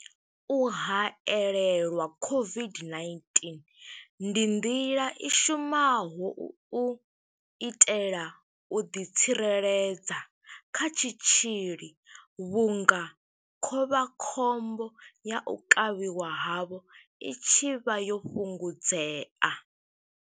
U haelelwa COVID-19 ndi nḓila i shumaho u itela u ḓitsireledza kha tshitzhili vhunga khovha khombo ya u kavhiwa havho i tshi vha yo fhungudzea.